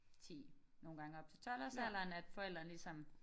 10 nogle gange op til 12-års alderen at forældrene ligesom